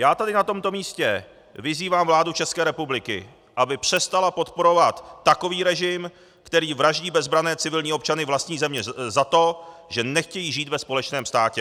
Já tady na tomto místě vyzývám vládu České republiky, aby přestala podporovat takový režim, který vraždí bezbranné civilní občany vlastní země za to, že nechtějí žít ve společném státě.